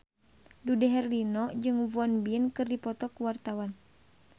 Dude Herlino jeung Won Bin keur dipoto ku wartawan